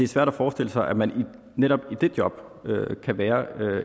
svært at forestille sig at man netop i det job kan være